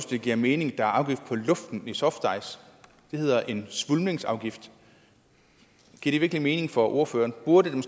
det giver mening at der er afgift på luften i softice det hedder en svulmningsafgift giver det virkelig mening for ordføreren burde der